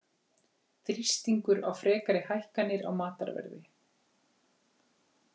Þrýstingur á frekari hækkanir á matarverði